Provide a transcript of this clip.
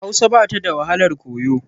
Hausa ba ta da wahalar koyo.